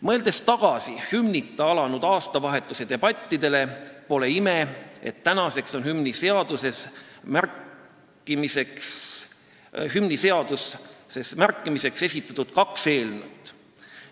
" Mõeldes tagasi hümnita aastavahetuse üle peetud debattidele, pole ime, et tänaseks on hümni seadusesse märkimiseks esitatud kaks eelnõu.